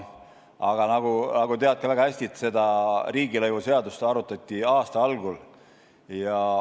Aga nagu sa ka väga hästi tead, seda riigilõivuseadust arutati aasta algul.